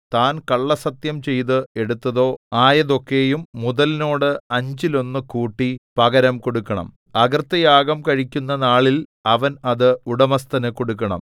താൻ കള്ളസ്സത്യം ചെയ്ത് എടുത്തതോ ആയതൊക്കെയും മുതലിനോട് അഞ്ചിലൊന്നു കൂട്ടി പകരം കൊടുക്കണം അകൃത്യയാഗം കഴിക്കുന്ന നാളിൽ അവൻ അത് ഉടമസ്ഥന് കൊടുക്കണം